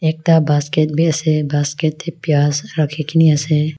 ekta basket bhi ase basket te payash rakhi kine ase.